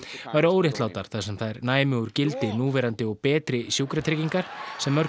væru óréttlátar þar sem þær næmu úr gildi núverandi og betri sjúkratryggingar sem mörg